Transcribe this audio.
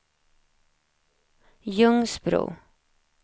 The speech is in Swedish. Ljungsbro